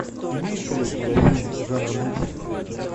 имеется ли у тебя фильм жанра мультфильм